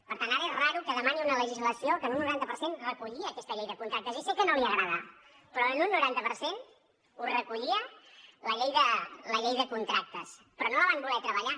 per tant ara és rar que demani una legislació que en un noranta per cent recollia aquesta llei de contractes i sé que no li agrada però en un noranta per cent ho recollia la llei de contractes però no la van voler treballar